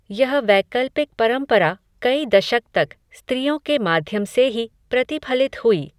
यह वैकल्पिक परम्परा, कई दशक तक, स्त्रियों के माध्यम से ही, प्रतिफलित हुई